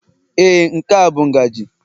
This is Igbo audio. Ee, nke a bụ ngaji